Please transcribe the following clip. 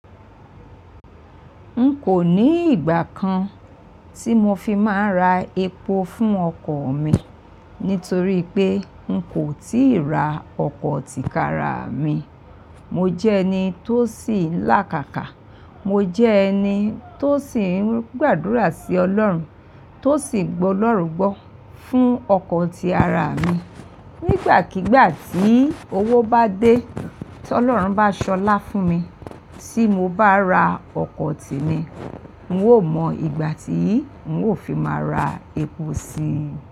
N kò ní ìgbà kan tí mo fi máa ń ra epo fún ọkọ̀ mi nítorí pé n kò tíì ra ọkọ̀ tíkaraa mi. Mo jẹ́ ẹni tó sì ń lákàkà. Mo jẹ́ ẹni tó sì ń gbàdúrà sí Ọlọ́run, tó sì gbolọ́run gbọ́ fún ọkọ̀ tí araa mi. Nígbàkigbà tí owó bá dé, tí Ọlọ́run bá ṣọlá fún mi, tí mo bá ra ọkọ̀ temi, n ó mọ ìgbà tí n ó fi máa ra epo síi.